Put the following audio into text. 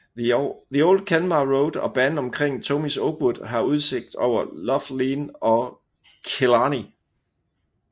The Old Kenmare Road og banen omkring Tomies Oakwood har udsigt over Lough Leane og Killarney